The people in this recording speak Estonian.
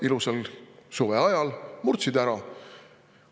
Ilusal suveajal murdsid ära.